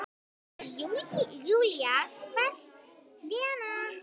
Júlía hvellt: Lena!